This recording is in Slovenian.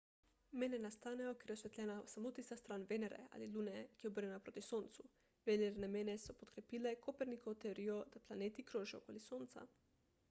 mene nastanejo ker je osvetljena samo tista stran venere ali lune ki je obrnjena proti soncu. venerine mene so podkrepile kopernikovo teorijo da planeti krožijo okoli sonca